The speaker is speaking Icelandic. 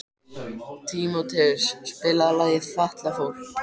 Tímóteus, spilaðu lagið „Fatlafól“.